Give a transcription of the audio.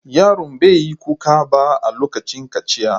Yaron bai yi kuka ba a lokacin kaciya.